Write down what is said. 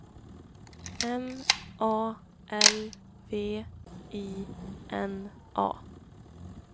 M A L V I N A